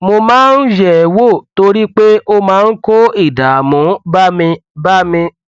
mo máa ń yẹ ẹ wò torí pé ó máa ń kó ìdààmú bá mi bá mi